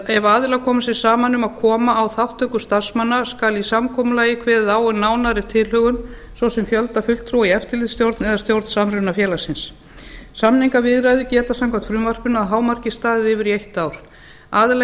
ef aðilar koma sér saman um að koma á þátttöku starfsmanna skal í samkomulagi kveðið á um nánari tilhögun svo sem fjölda fulltrúa í eftirlitsstjórn eða stjórn samrunafélagsins samningaviðræður geta samkvæmt frumvarpinu að hámarki staðið yfir í eitt ár aðilar